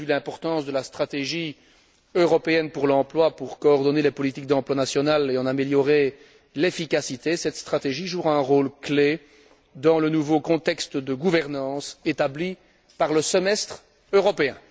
Vu l'importance de la stratégie européenne pour l'emploi en vue de coordonner les politiques d'emploi nationales et en améliorer l'efficacité, cette stratégie jouera un rôle clé dans le nouveau contexte de gouvernance établi par le semestre européen.